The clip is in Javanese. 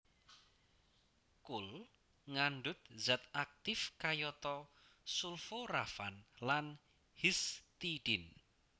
Kul ngandhut zat aktif kayata sulforafan lan histidine